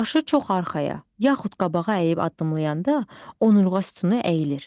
Başı çox arxaya, yaxud qabağa əyib addımlayanda onurğa sütunu əyilir.